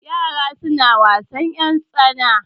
Yara suna wasan ƴartsana.